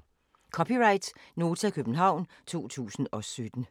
(c) Nota, København 2017